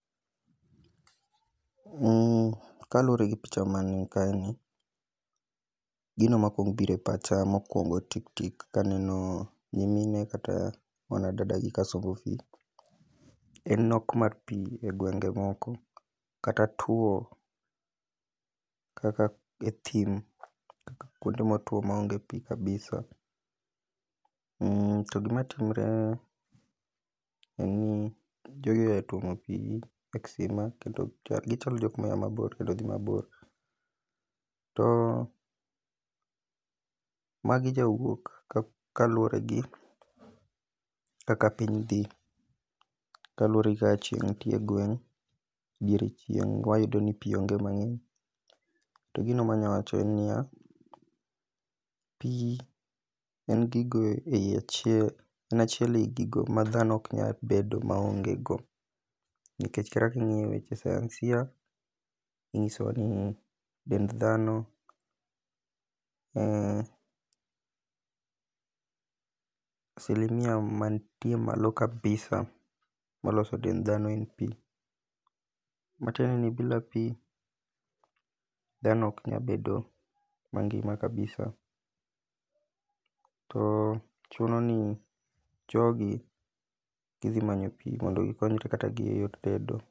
Kaluwore gi picha ma ni ka ni, gino makwong bire pacha mokwongo tik tik kaneno nyimine kata wanadada gi ka sombo pi. En nok mar pi e gwenge moko kata tuo kaka e thim kaka kuonde motuo maonge pi kabisa. To gima timre en ni jogi oya tuomo pi e kisima kendo gichalo jok moya mabor kendo dhi mabor. To magi jawuok kaluwore gi kaka piny dhi, kaluwore gi kaka chieng' nitie e gweng'. Diere chieng' wayudo ni pi onge mang'eny, to gino manya wacho en niya. Pi en gigo ei achiel en achiel ei gigo ma dhano ok nya bedo maonge go, nikech kata king'iyo weche Sayansia, ing'isowa no dend dhano asilimia mantie malo kabisa malos dend dhano en pi. Matiende ni bila pi dhano ok nya bedo mangima kabisa. To chuno ni jogi gidhi manyo pi mondo gikonyre kata giyud tedo.